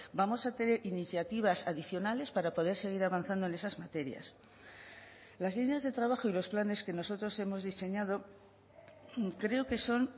vamos a iniciativas adicionales para poder seguir avanzando en esas las líneas de trabajo y los planes que nosotros hemos diseñado creo que son